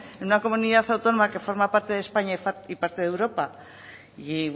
en una comunidad autónoma que forma parte de españa y parte de europa y